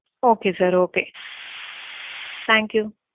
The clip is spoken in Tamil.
Okay sir Okay. Thank you.